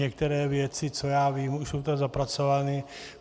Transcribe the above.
Některé věci, co já vím, už jsou tam zapracovány.